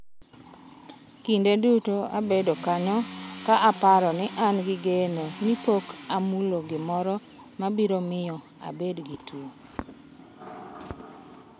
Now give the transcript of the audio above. """Kinde duto abedo kanyo ka aparo ni an gi geno ni pok amulo gimoro ma biro miyo abed gi tuo."